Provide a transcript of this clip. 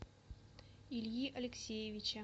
ильи алексеевича